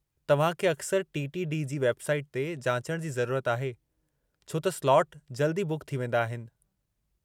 तव्हां खे अक्सर टी. टी. डी. जी वेब साईट ते जाचण जी ज़रूरत आहे, छो त स्लाट जल्दु ई बुक थी वेंदा आहिनि।